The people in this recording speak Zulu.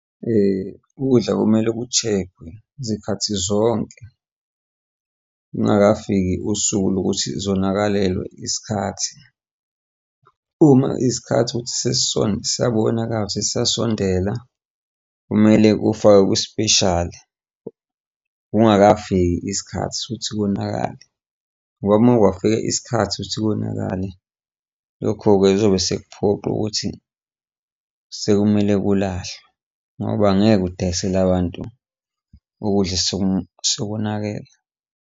Ukudla kumele ku-check-we zikhathi zonke lungakafiki usuku lokuthi zonakalelwe isikhathi. Uma isikhathi ukuthi siyabonakala ukuthi siyasondela, kumele kufakwe kwispeshali kungakafiki isikhathi sokuthi konakale ngoba uma kwafika isikhathi ukuthi konakale, lokho-ke kuzobe sekuphoqa ukuthi sekumele kulahlwe ngoba angeke udayisele abantu ukudla osekonakele.